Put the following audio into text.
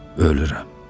Ölürəm.